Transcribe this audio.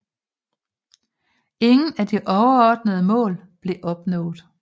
Ingen af de overordnede mål blev opnået